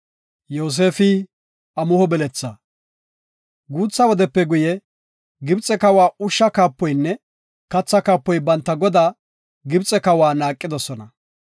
Guutha wodepe guye, Gibxe kawa ushsha kaapoynne katha kaapoy banta godaa, Gibxe kawa naaqidosona.